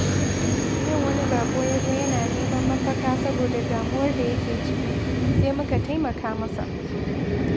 Yau wani bako ya zo yana neman mafaka saboda damuwar da yake ciki, sai muka taimaka masa.